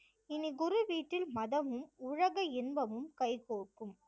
இனி குரு வீட்டில் மதமும் உலக இன்பமும் கைகோர்க்கும்